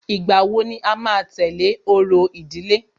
Ìgbà wo ni à máa tẹ̀lé orò ìdílé?